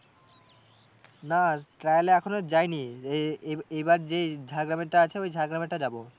না trial এ এখনো যায়নি এ এ এবার যে ঝাড় গ্রামেরটা ওই ঝাড় গ্রামেরটা যাবো।